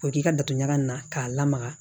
K'o k'i ka datugan na k'a lamaga